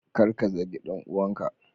Kar ka zagi dan uwanka.